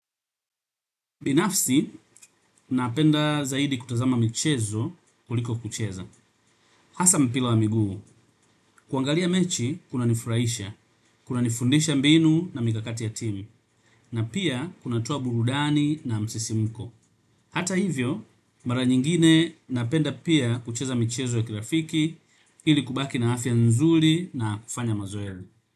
Binafsi, napenda zaidi kutazama michezo kuliko kucheza. Asa mpila wa miguu, kuangalia mechi kuna nifurahisha, kuna nifundisha mbinu na mikakati ya timu, na pia kunatoa burudani na msisimuko. Hata hivyo, mara nyingine napenda pia kucheza michezo ya kilafiki ili kubaki na afya nzuli na kufanya mazoezi.